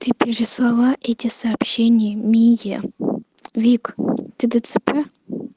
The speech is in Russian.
ты переслала эти сообщения мие вик ты дцп